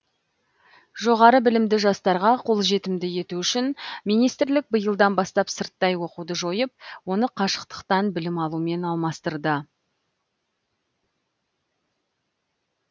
жоғары білімді жастарға қолжетімді ету үшін министрлік биылдан бастап сырттай оқуды жойып оны қашықтықтан білім алумен алмастырды